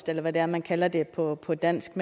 eller hvad det er man kalder det på på dansk